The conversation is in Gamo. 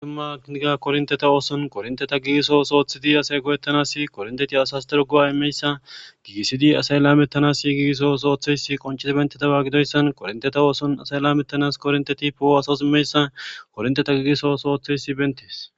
Aumaniga kornteta ooson korinteta giiso sooththidi asay gowettanasi korinteti asas dirogowa imeyssa gigisidi asay laametanasi gigiso sooththeysi qonchisa bentetawa gidoyssan korinteta ooson asay laamettanas kornteti pooo asas immeyssa korinteta gigiso sooththeysi bentees.